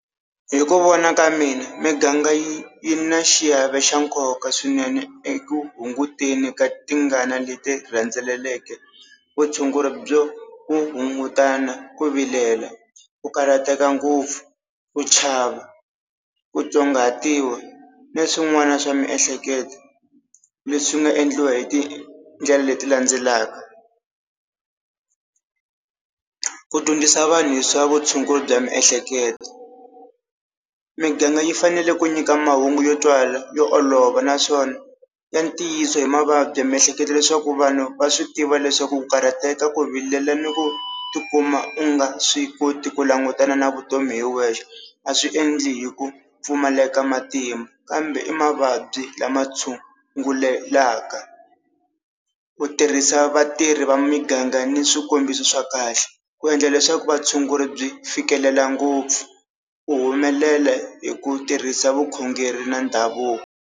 Hi ku vona ka mina miganga yi yi na xiave xa nkoka swinene eku hunguteni ka tingana leti rhendzeleleka vutshunguri byo hungutana, ku vilela, ku karhateka ngopfu, ku chava, ku tsongahatiwa ni swin'wana swa miehleketo leswi nga endliwa hi tindlela leti landzelaka. Ku dyondzisa vanhu hi swa vutshunguri bya miehleketo, miganga yi fanele ku nyika mahungu yo twala yo olova naswona ya ntiyiso hi mavabyi ya miehleketo, leswaku vanhu va swi tiva leswaku ku karhateka ku vilela ni ku tikuma u nga swi koti ku langutana na vutomi hi wexe a swi endli hi ku pfumaleka matimba, kambe i mavabyi lama tshungulekaka. Ku tirhisa vatirhi va miganga ni swikombiso swa kahle, ku endla leswaku vatshunguri byi fikelela ngopfu ku humelela hi ku tirhisa vukhongeri na ndhavuko.